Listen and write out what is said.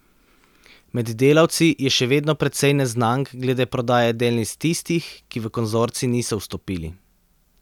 Med delavci je še vedno precej neznank glede prodaje delnic tistih, ki v konzorcij niso vstopili.